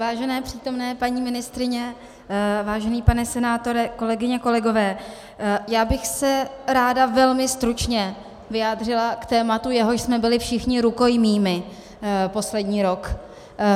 Vážené přítomné paní ministryně, vážený pane senátore, kolegyně, kolegové, já bych se ráda velmi stručně vyjádřila k tématu, jehož jsme byli všichni rukojmími poslední rok.